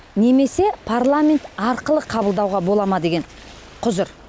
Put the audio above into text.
немесе парламент арқылы қабылдауға бола ма деген құзыр